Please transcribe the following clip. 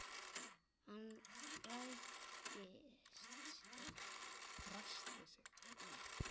Hann ræskti sig.